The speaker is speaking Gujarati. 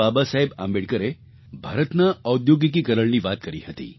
બાબાસાહેબ આંબેડકરે ભારતના ઔદ્યોગિકીકરણની વાત કરી હતી